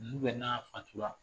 bɛ na